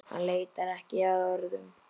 Hann leitar ekki að orðum.